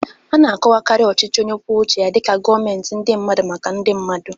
Ana-akọwakarị ochịchị onye kwụọ ụche ya dika gọmentị ndi mmadụ, maka ndi mmadụ.